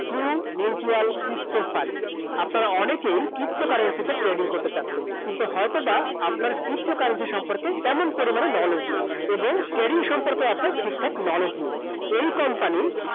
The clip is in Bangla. True Mutual Crypto Fund অনেকেই pto currency তে trading করতে চাচ্ছেন কিন্তু হয়তো বা আপনার pto currency সম্পর্কে তেমন পরিমাণে knowledge নেই এবং trading সম্পর্কেও আপনার ঠিকঠাক knowledge নেই । এই company